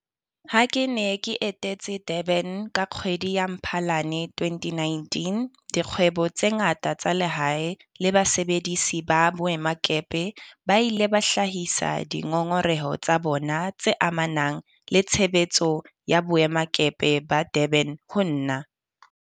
Ha ke ne ke etetse Durban ka kgwedi ya Mphalane 2019, dikgwebo tse ngata tsa lehae le basebedisi ba boemakepe. Ba ile ba hlahisa dingongoreho tsa bona tse amanang le tshebetso ya boemakepe ba Durban ho nna.